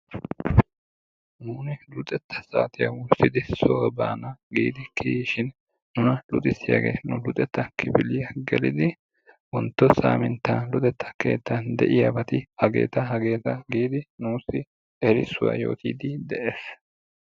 nuuni luxxetta saatiya wurssidi soo baana giidi kiyishin nuna luxxisiyagee kifiliya soo gelidi wontto saaminta de'iyabati hageeta, giidi erissuwa yootiidi de'ees.